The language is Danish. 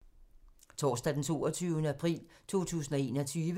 Torsdag d. 22. april 2021